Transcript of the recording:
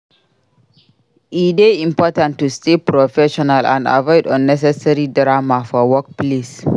E dey important to stay professional and avoid unnecessary drama for workplace.